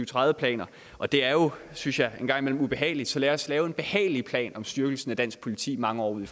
tredive planer og det er jo synes jeg engang imellem ubehageligt så lad os lave en behagelig plan om styrkelsen af dansk politi mange år ud